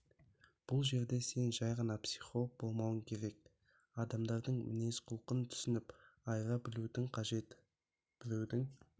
бұл жерде сен жай ғана психолог болмауың керек адамдардың мінез-құлқын түсініп айыра білуің қажет біреудің